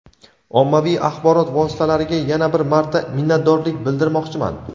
Ommaviy axborot vositalariga yana bir marta minnatdorlik bildirmoqchiman.